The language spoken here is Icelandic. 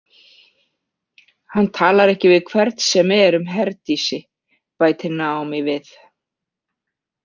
Hann talar ekki við hvern sem er um Herdísi, bætir Naomi við.